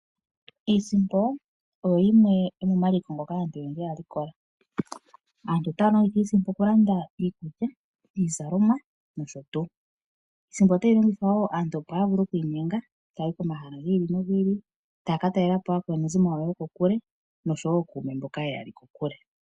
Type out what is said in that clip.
Iisimpo oyo yimwe yomomaliko ngoka aantu oyendji haya likola. Aantu otaya longitha iisimpo okulanda iikulya, iizalomwa nosho tuu. Iisimpo otayi longithwa opo aantu ya vule oku inyenga taya yi pomahala gi ili nogi ili taya ka talelapo aakwanezimo yawo yoko kule nookume mboka yeya li kokule.